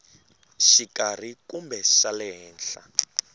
xikarhi kumbe xa le henhla